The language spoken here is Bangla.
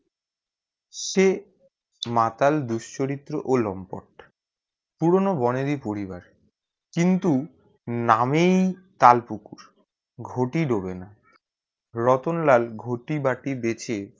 সে মাতাল দুশ্চরিত অলম্পট পুরোনো বোনের ই পরিবার কিন্তু নাম ই তাল পুকুর ঘটি দোগে না রতনলাল ঘটি বাটি বেঁচে